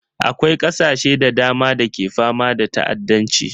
Akwai ƙasashe da dama da ke fama da ta'addanci